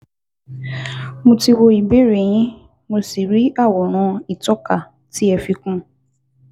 Mo ti wo ìbéèrè yín, mo sì rí àwòrán ìtọ́ka tí ẹ fi kún un